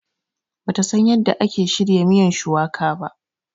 Bata San yanda ake shirya miyan shuwaka ba.